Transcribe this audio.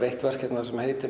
eitt verk hérna sem heitir